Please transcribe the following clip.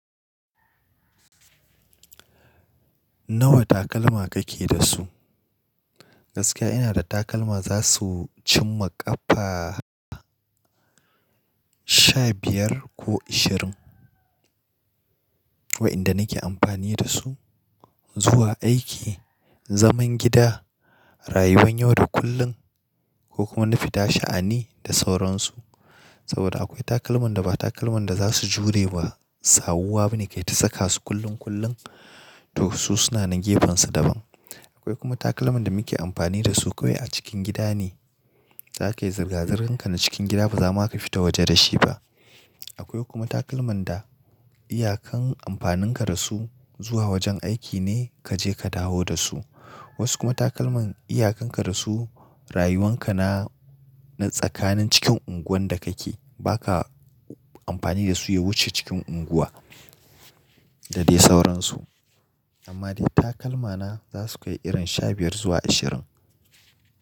Nawa takalma kake da su? Gaskiya ina da takalma za su cimma ƙafa sha biyar ko ishirin wa in da nake amfani da su zuwa aiki, zaman gida, rayuwan yau da kullum ko kuma na fita sha'ani da sauransu. Saboda akwai takalman da ba takalman da za su jure ba, sawu wa bane kai ta saka su kullun kullun to su suna nan gefen su daban. Akwai kuma takalman da muke amfani da su kawai a cikin gida ne, za ka yi zirga-zirgan ka na cikin gida ba za ma ka fita waje da shi ba. Akwai kuma takalman da iyakan amfanin ka da su zuwa wajen aiki ne ka je ka dawo da su. Wasu kuma takalman iyakan ka da su rayuwan ka na tsakanin cikin unguwan da kake, ba ka amfani da su ya wuce cikin unguwa da dai sauransu. Amma dai takalma na za su kai irin sha biyar zuwa ashirin.